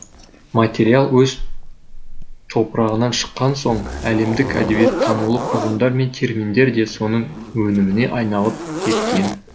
материал өз топырағынан шыққан соң әлемдік әдебиеттанулық ұғымдар мен терминдер де соның өніміне айналып кеткен